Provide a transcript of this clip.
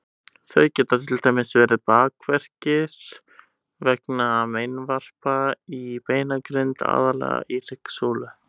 Þau geta til dæmis verið bakverkir vegna meinvarpa í beinagrind, aðallega í hryggsúlu.